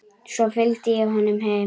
Svo fylgdi ég honum heim.